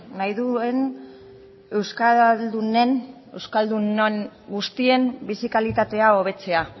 nahi duen euskaldunen euskaldunon guztien bizi kalitatea hobetzea